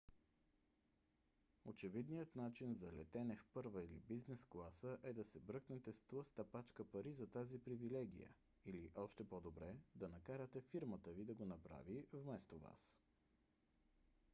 очевидният начин за летене в първа или бизнес класа е да се бръкнете с тлъста пачка пари за тази привилегия или още по - добре да накарате фирмата ви да го направи вместо вас